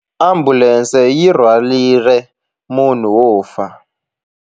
Ambulense yi rhwarile munhu wo fa.